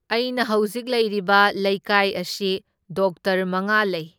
ꯑꯩꯅ ꯍꯧꯖꯤꯛ ꯂꯩꯔꯤꯕ ꯂꯩꯀꯥꯏ ꯑꯁꯤ ꯗꯣꯛꯇꯔ ꯃꯉꯥ ꯂꯩ꯫